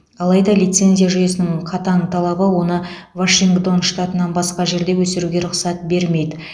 алайда лицензия жүйесінің қатаң талабы оны вашингтон штатынан басқа жерде өсіруге рұқсат бермейді